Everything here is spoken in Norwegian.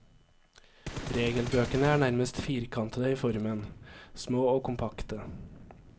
Regelbøkene er nærmest firkantede i formen, små og kompakte.